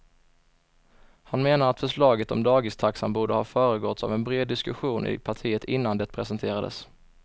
Han menar att förslaget om dagistaxan borde ha föregåtts av en bred diskussion i partiet innan det presenterades.